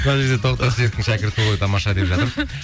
мына жерде тоқтар серіковтің шәкірті ғой тамаша деп жатыр